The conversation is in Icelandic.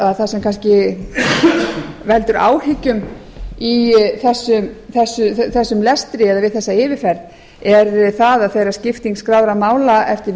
að það sem veldur áhyggjum í þessum lestri eða við þessa yfirferð er það að þegar skipting skráðra mála eftir